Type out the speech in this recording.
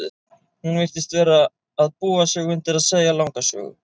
Hún virtist vera að búa sig undir að segja langa sögu.